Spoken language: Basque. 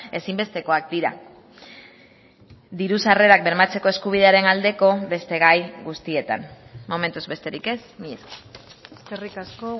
ezinbestekoak dira diru sarrerak bermatzeko eskubidearen aldeko beste gai guztietan momentuz besterik ez mila esker eskerrik asko